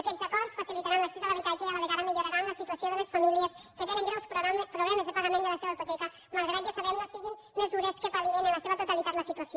aquests acords facilitaran l’accés a l’habitatge i a la vegada milloraran la situació de les famílies que tenen greus problemes de pagament de la seva hipoteca malgrat que ja ho sabem no siguin mesures que pal·liïn en la seva totalitat la situació